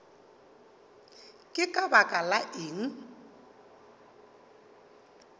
ke ka baka la eng